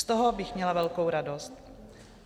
Z toho bych měla velkou radost.